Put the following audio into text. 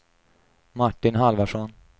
Martin Halvarsson